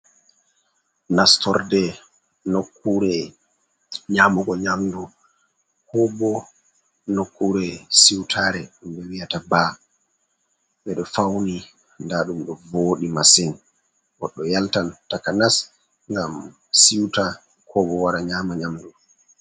Nastorde nokkuure nyamugo nyamdu ko bo nokkure siwtaare. Ɓe wi’ata baa, ɓe ɗo fawni ndaa ɗum ɗo voodi masin. Goɗɗo yaltan takanas ngam siwta ko bo wara nyaama nyamdu.